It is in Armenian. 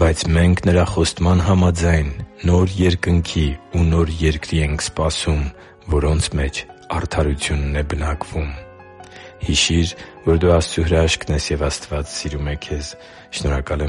«Բայց մենք, Նրա խոստման համաձայն, նոր երկնքի ու նոր երկրի ենք սպասում, որոնց մեջ արդարությունն է բնակվում» (Բ Պետրոս 3․13) Հիշի՛ր, որ դու Աստծո հրաշքն ես, և Աստված սիրում է քեզ։ Շնորհակալ եմ,